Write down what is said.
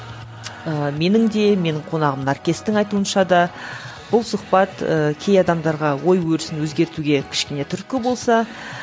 ііі менің де менің қонағым наркестің айтуынша да бұл сұхбат ы кей адамдарға ой өрісін өзгертуге кішкене түрткі болса